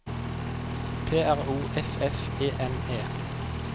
P R O F F E N E